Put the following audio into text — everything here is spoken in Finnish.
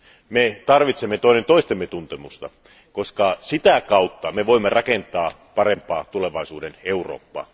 Me tarvitsemme toinen toistemme tuntemusta, koska sitä kautta me voimme rakentaa parempaa tulevaisuuden Eurooppaa.